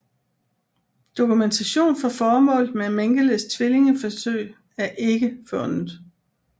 Dokumentation for formålet med Mengeles tvillingeforsøg er ikke fundet